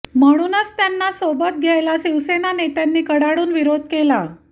म्हणूनच त्यांना सोबत घ्यायला शिवसेना नेत्यांनी कडाडून विरोध केला